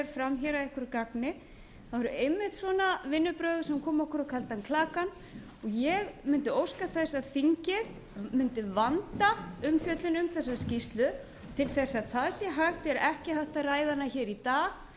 fram að einhverju gagni það voru einmitt svona vinnubrögð sem komu okkur á kaldan klaka og ég vildi óska þess að þingið mundi vanda umfjöllun um þessa skýrslu til þess að það sé hægt er ekki hægt að ræða hana í dag